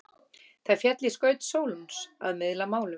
Það féll í skaut Sólons að miðla málum.